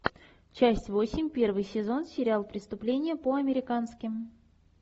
часть восемь первый сезон сериал преступление по американски